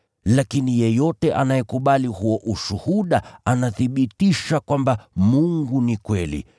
Lakini yeyote anayekubali huo ushuhuda anathibitisha kwamba, Mungu ni kweli.